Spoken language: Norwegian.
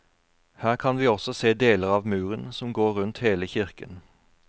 Her kan vi også se deler av muren som går rundt hele kirken.